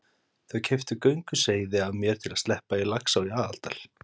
Þau keyptu gönguseiði af mér til að sleppa í Laxá í Aðaldal.